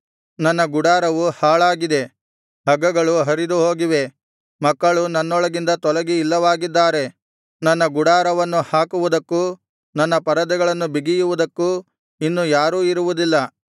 ನನ್ನ ಗುಡಾರವು ಹಾಳಾಗಿದೆ ಹಗ್ಗಗಳು ಹರಿದುಹೋಗಿವೆ ಮಕ್ಕಳು ನನ್ನೊಳಗಿಂದ ತೊಲಗಿ ಇಲ್ಲವಾಗಿದ್ದಾರೆ ನನ್ನ ಗುಡಾರವನ್ನು ಹಾಕುವುದಕ್ಕೂ ನನ್ನ ಪರದೆಗಳನ್ನು ಬಿಗಿಯುವುದಕ್ಕೂ ಇನ್ನು ಯಾರೂ ಇರುವುದಿಲ್ಲ